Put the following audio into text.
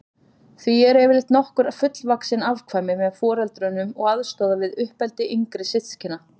Því eru yfirleitt nokkur fullvaxin afkvæmi með foreldrunum og aðstoða við uppeldi yngri systkina.